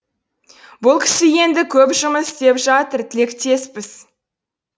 бұл кісі енді көп жұмыс істеп жатыр тілектеспіз